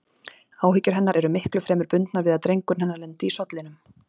Áhyggjur hennar eru miklu fremur bundnar við að drengurinn hennar lendi í sollinum.